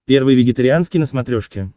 первый вегетарианский на смотрешке